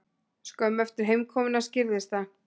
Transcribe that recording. Skömmu eftir heimkomuna skýrðist það.